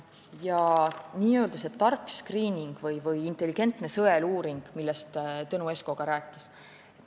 Ja see n-ö tark skriining või intelligentne sõeluuring, millest Tõnu Esko rääkis.